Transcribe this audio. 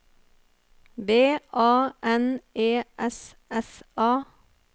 V A N E S S A